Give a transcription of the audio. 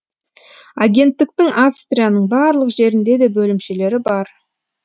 агенттіктің австрияның барлық жерінде де бөлімшелері бар